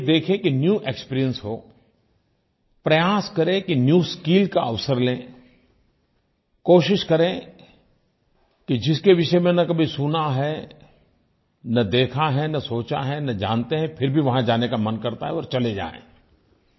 ये देखें कि न्यू एक्सपीरियंस हो प्रयास करें कि न्यू स्किल का अवसर लें कोशिश करें कि जिसके विषय में न कभी सुना है न देखा है न सोचा है न जानते हैं फिर भी वहाँ जाने का मन करता है और चले जायें